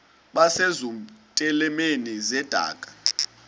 base zitulmeni zedaka